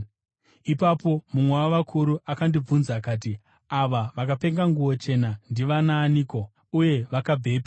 Ipapo mumwe wavakuru akandibvunza akati, “Ava vakapfeka nguo chena, ndivanaaniko, uye vakabvepi?”